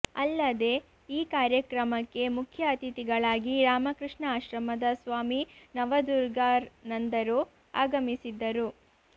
ಅಲ್ಲದೆ ಈ ಕಾರ್ಯಕ್ರಮಕ್ಕೆ ಮುಖ್ಯ ಅತಿಥಿಗಳಾಗಿ ರಾಮಕೃಷ್ಣ ಆಶ್ರಮದ ಸ್ವಾಮಿ ನವದುಗರ್ಾನಂದರು ಆಗಮಿಸಿದ್ದರು